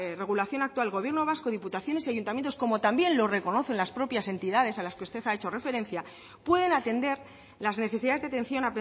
regulación actual el gobierno vasco diputaciones y ayuntamientos como también lo reconocen las propias entidades a las que usted ha hecho referencia pueden atender las necesidades de atención